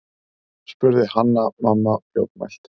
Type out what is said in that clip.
spurði Hanna-Mamma fljótmælt.